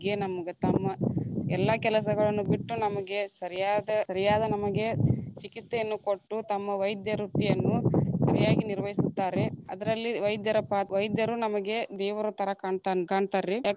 ನಮ್ಗ ತಮ್ಮ ಎಲ್ಲಾ ಕೆಲಸಗಳನ್ನು ಬಿಟ್ಟ ನಮಗೆ ಸರಿಯಾದ ಸರಿಯಾದ ನಮಗೆ ಚಿಕಿತ್ಸೆಯನ್ನು ಕೊಟ್ಟು, ತಮ್ಮ ವೈದ್ಯ ವೃತ್ತಿಯನ್ನು ಸರಿಯಾಗಿ ನಿರ್ವಹಿಸುತ್ತಾರೆ, ಅದರಲ್ಲಿ ವೈದ್ಯರ ವೈದ್ಯರು ನಮಗೆ ದೇವರ ತರ ಕಾಣ್ತಾ~ ಕಾಣ್ತಾರ್ರಿ.